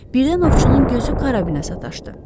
Birdən ovçunun gözü karabinə sataşdı.